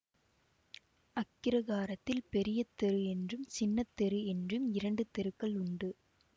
அக்கிரகாரத்தில் பெரிய தெரு என்றும் சின்னத் தெரு என்றும் இரண்டு தெருக்கள் உண்டு